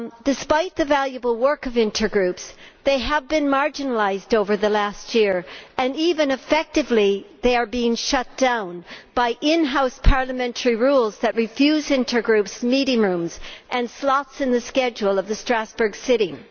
Despite the valuable work of intergroups they have been marginalised over the last year and, effectively, they are being shut down by in house parliamentary rules that refuse intergroups meeting rooms and slots in the schedule of the Strasbourg sitting.